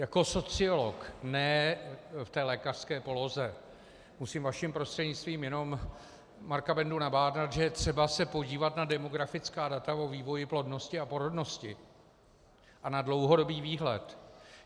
Jako sociolog, ne v té lékařské poloze, musím vaším prostřednictvím jenom Marka Bendu nabádat, že je třeba se podívat na demografická data o vývoji plodnosti a porodnosti a na dlouhodobý výhled.